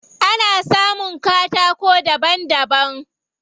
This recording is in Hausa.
Ana samun katako daban daban.